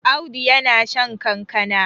Audu yana shan kankana